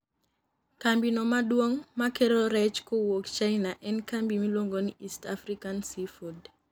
kambi no maduong makelo rech kowuok china en kambi miluongo ni East African Sea food